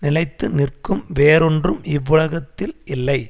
நிலைத்து நிற்கும் வேறொன்றும் இவ்வுலகத்தில் இல்லை